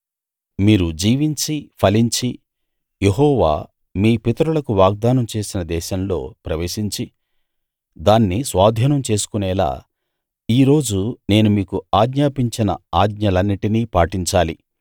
మీరు జీవించి ఫలించి యెహోవా మీ పితరులకు వాగ్దానం చేసిన దేశంలో ప్రవేశించి దాన్ని స్వాధీనం చేసుకునేలా ఈ రోజు నేను మీకు ఆజ్ఞాపించిన ఆజ్ఞలన్నిటిని పాటించాలి